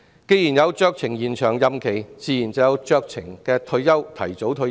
既然有酌情延長任期的安排，自然也可以酌情提早退休。